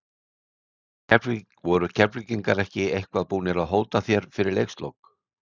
Voru Keflvíkingar eitthvað búnir að hóta þér fyrir leikslok?